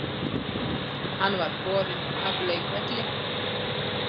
Hann var borinn af leikvelli